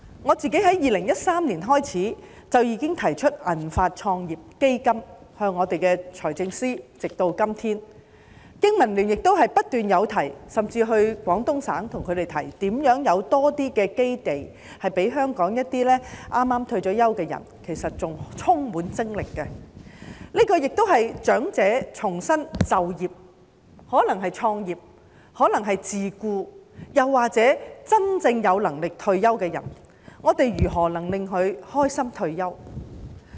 我從2013年起至今，一直建議財政司司長設立"銀髮創業基金"，香港經濟民生聯盟亦不斷提出，甚至到廣東省向他們提出，如何為香港一些剛退休的人士提供較多基地，其實他們仍然精力充沛，這亦是長者重新就業的機會，可能是創業、可能是自僱，又或是真正有能力退休的人，我們如何令他們開心地退休？